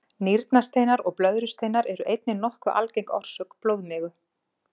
Nýrnasteinar og blöðrusteinar eru einnig nokkuð algeng orsök blóðmigu.